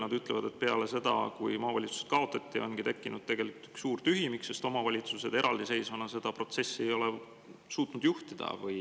Nad ütlevad, et peale seda, kui maavalitsused kaotati, on tekkinud tegelikult üks suur tühimik, sest omavalitsused eraldiseisvana seda protsessi ei ole suutnud juhtida.